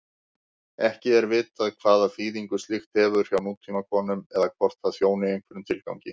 Ekki er vitað hvaða þýðingu slíkt hefur hjá nútímakonum eða hvort það þjóni einhverjum tilgangi.